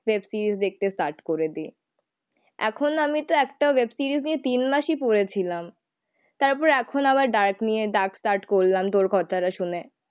Web series দেখতে start করে দিই, এখন আমি তো একটা ওয়েব সিরিজ নিয়ে তিন মাসই পরে ছিলাম, তারপর এখন আবার ডায়েট নিয়ে ডার্ক স্টার্ট করলাম তোর কথাটা শুনে.